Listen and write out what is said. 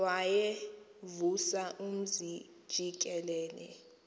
wayevusa umzi jikelele